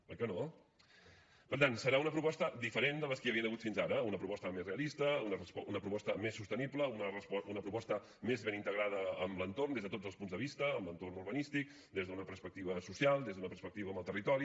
oi que no per tant serà una proposta diferent de les que hi havien hagut fins ara una proposta més realista una proposta més sostenible una proposta més ben integrada amb l’entorn des de tots els punts de vista amb l’entorn urbanístic des d’una perspectiva social des d’una perspectiva amb el territori